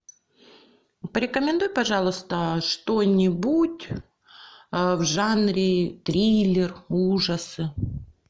порекомендуй пожалуйста что нибудь в жанре триллер ужасы